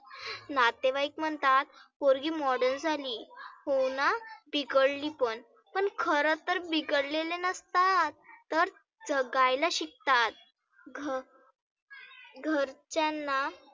नातेवाईक म्हणतात पोरगी modern झाली होना? बिघडली पण. पण खरं तर बिघडलेली नसतात तर जगायला शिकतात. घ घरच्यांना